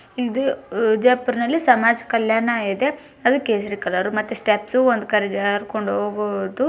ಇದು ಸಮಾಜ ಕಲ್ಯಾಣ ಇಲಾಖೆ ವಿಜಾಪುರದಲ್ಲಿ ಇದೆ.